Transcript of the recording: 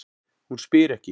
Hún spyr ekki.